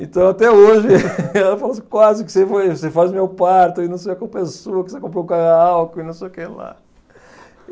Então, até hoje, ela fala assim, quase que você foi, você faz o meu parto e não sei a culpa é sua, porque você comprou um carro álcool e não sei o que lá.